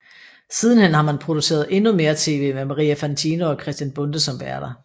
Sidenhen har man produceret endnu mere TV med Maria Fantino og Christian Bonde som værter